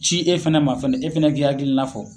Ci e fɛnɛ ma fɛnɛ , e fɛnɛ k'i hakilila fɔ.